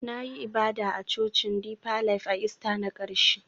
Na yi ibada a Cocin Deeper Life a Ista na ƙarshe